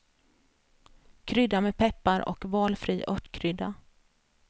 Krydda med peppar och valfri örtkrydda.